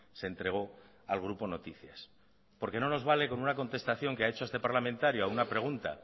se entrego al grupo noticias porque no nos vale a una contestación que ha hecho a este parlamentario a una pregunta